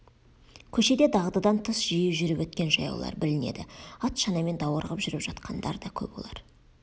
көшеде дағдыдан тыс жиі жүріп өткен жаяулар білінеді ат шанамен даурығып жүріп жатқандар да көп олар